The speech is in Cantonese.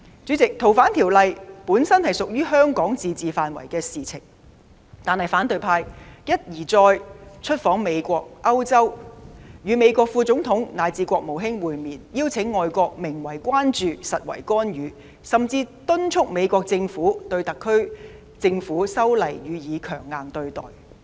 主席，《逃犯條例》本屬香港自治範圍的事情，但反對派一而再出訪美國、歐洲，與美國副總統以至國務卿會面，邀請外國名為關注，實為干預，甚至敦促美國政府對特區政府修例予以強硬對待。